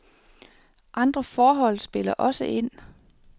Andre forhold spiller også ind.